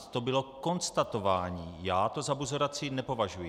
To bylo konstatování, já to za buzeraci nepovažuji.